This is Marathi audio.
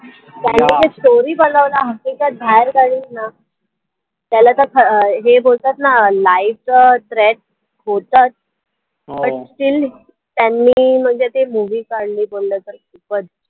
त्यांनी ते story बनवलं हकीकत बाहेर काढली ना त्याला तर हे बोलतात ना life अं होतचं but still त्यांनी म्हणजे ती movie काढली बोललं तर खुपचं